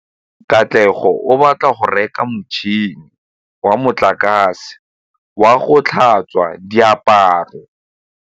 Katlego o batla go reka motšhine wa motlakase wa go tlhatswa diaparo.